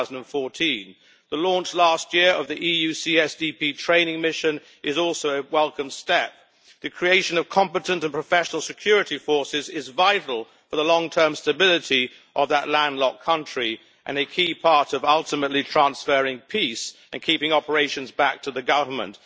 2014. The launch last year of the EU CSDP training mission is also a welcome step. The creation of competent and professional security forces is vital for the long term stability of that landlocked country and a key part of ultimately transferring peace-keeping operations back to the government.